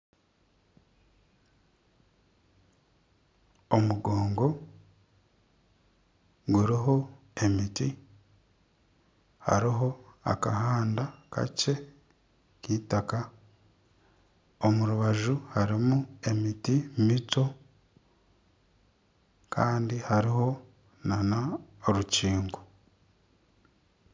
Omugongo guriho emiti, hariho akahanda kakye k'eitaka. Omu rubaju harimu emiti mito kandi hariho n'orukingo.